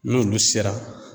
N'olu sera